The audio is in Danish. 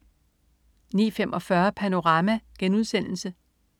09.45 Panorama*